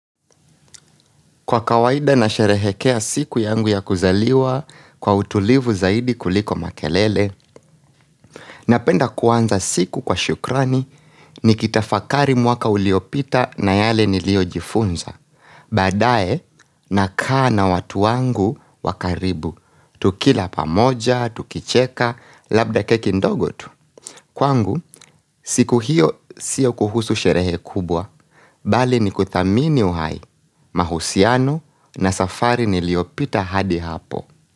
Kwa kawaida na sherehekea siku yangu ya kuzaliwa kwa utulivu zaidi kuliko makelele, napenda kuanza siku kwa shukrani ni kitafakari mwaka uliopita na yale niliojifunza. Baadae na kaa na watu wangu wakaribu, tukila pamoja, tukicheka, labda keki ndogo tu. Kwangu, siku hiyo siyo kuhusu sherehe kubwa, bali ni kuthamini uhai, mahusiano na safari niliopita hadi hapo.